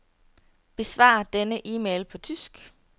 Besvar denne e-mail på tysk.